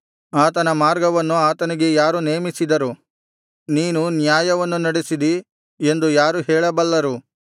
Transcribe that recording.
ಆತನ ಮಾರ್ಗವನ್ನು ಆತನಿಗೆ ಯಾರು ನೇಮಿಸಿದರು ನೀನು ಅನ್ಯಾಯವನ್ನು ನಡೆಸಿದಿ ಎಂದು ಯಾರು ಹೇಳಬಲ್ಲರು